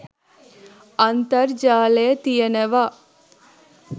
අන්තර්ජාලය තියෙනවා